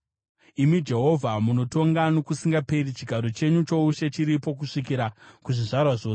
Imi Jehovha, munotonga nokusingaperi; chigaro chenyu choushe chiripo kuzvizvarwa zvose.